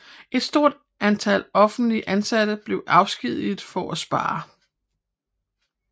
Et stort antal offentligt ansatte blev afskediget for at spare